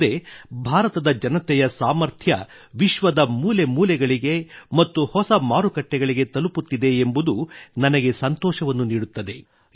ಅಲ್ಲದೆ ಭಾರತದ ಜನತೆಯ ಈ ಸಾಮರ್ಥ್ಯ ವಿಶ್ವದ ಮೂಲೆ ಮೂಲೆಗಳಿಗೆ ಮತ್ತು ಹೊಸ ಮಾರುಕಟ್ಟೆಗಳಿಗೆ ತಲುಪುತ್ತಿದೆ ಎಂಬುದು ನನಗೆ ಸಂತೋಷವನ್ನು ನೀಡುತ್ತದೆ